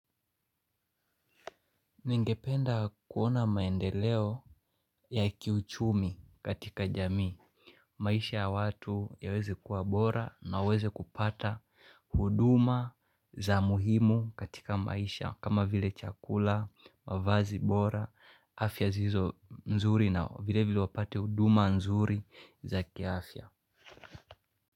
Ningependa kuona maendeleo ya kiuchumi katika jamii, maisha ya watu yaweze kuwa bora na uweze kupata huduma za muhimu katika maisha kama vile chakula, mavazi bora, afya zilizo nzuri na vile vile wapate huduma nzuri za kiafya.